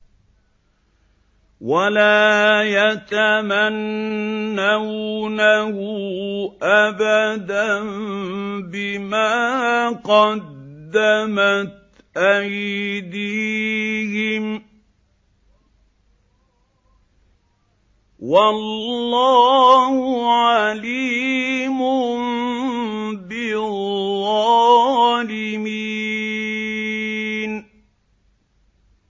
وَلَا يَتَمَنَّوْنَهُ أَبَدًا بِمَا قَدَّمَتْ أَيْدِيهِمْ ۚ وَاللَّهُ عَلِيمٌ بِالظَّالِمِينَ